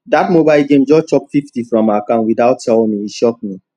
that mobile game just chop fifty from my account without tell me e shock me